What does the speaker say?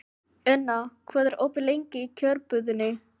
Una, hvað er opið lengi í Kjörbúðinni?